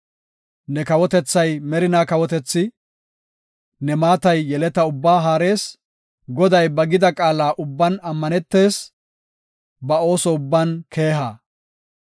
Ne kawotethay merina kawotethi; ne maatay yeleta ubbaa haarees. Goday ba gida qaala ubban ammanetees; ba ooso ubban keeha.